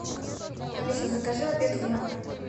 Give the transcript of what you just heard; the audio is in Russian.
алиса закажи обед в номер